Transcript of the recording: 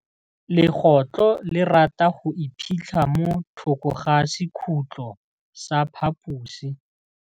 Legôtlô le rata go iphitlha mo thokô ga sekhutlo sa phaposi.